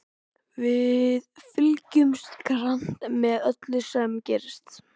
Við fylgjumst grannt með öllu sem gerist.